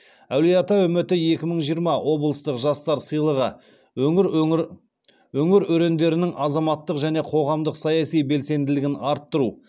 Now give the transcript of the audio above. әулиеата үміті екі мың жиырма облыстық жастар сыйлығы өңір өрендерінің азаматтық және қоғамдық саяси белсенділігін арттыру